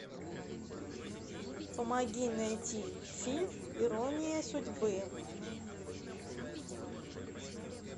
помоги найти фильм ирония судьбы